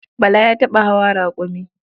Bala ya taɓa hawa raƙumi.